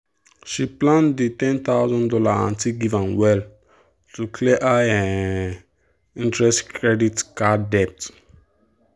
she plan the one thousand dollars0 her aunty give am well to clear high um interest credit card debt.